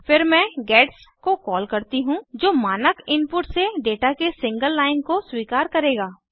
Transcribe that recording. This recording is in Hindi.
फिर मैं गेट्स को कॉल करती हूँ जो मानक इनपुट से डेटा के सिंगल लाइन को स्वीकार करेगा